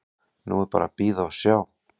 Nú er bara að bíða og sjá.